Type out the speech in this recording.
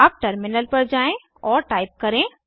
अब टर्मिनल पर जाएँ और टाइप करें